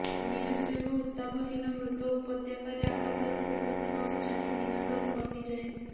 ନିରୁଦ୍ବେଗ ଉତ୍ତାପହୀନ ମୃତ ଉପତ୍ୟକାରେ ଆକାଶର ଶେଷ ସୀମାକୁ ଚାହିଁ ଦିନ ସବୁ କଟିଯାଏ